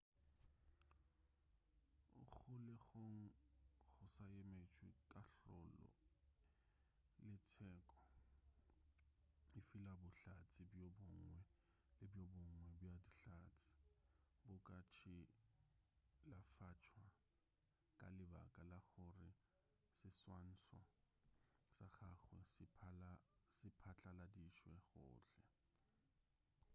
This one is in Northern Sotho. o kgolegong go sa emetšwe kahlolo le tsheko efela bohlatse bjo bongwe le bjo bongwe bja dihlatse bo ka tšhilafatšwa ka lebaka la gore seswantšho sa gagwe se phatlaladitšwe gohle